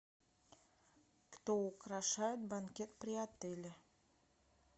кто украшает банкет при отеле